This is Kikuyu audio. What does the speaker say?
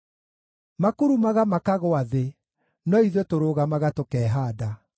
Makurumaga makagũa thĩ, no ithuĩ tũrũgamaga tũkehaanda.